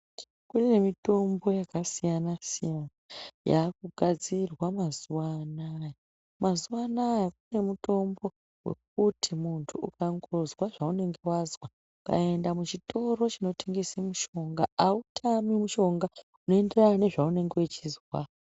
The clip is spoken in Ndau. Kune mitombo yakasiyana siyana yakugadzirwa mazuwa anaya. Mazuwa anaya kune mitombo wekuti muntu ukangozwa zvaunenge wazwa ukaenda kuchitoro chinotongese mishonga autami mushonga unoenderana nezvaunenge uchizwa.